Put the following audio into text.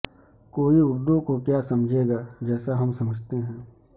کوئی اردو کو کیا سمجھے گا جیسا ہم سمجھتے ہیں